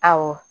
Awɔ